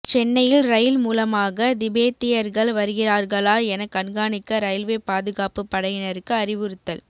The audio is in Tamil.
சென்னையில் ரயில் மூலமாக திபெத்தியர்கள் வருகிறார்களா என கண்காணிக்க ரயில்வே பாதுகாப்புப் படையினருக்கு அறிவுறுத்தல்